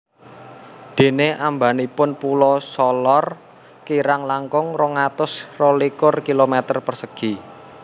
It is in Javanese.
Dene ambanipun Pulo Solor kirang langkung rong atus rolikur kilometer persegi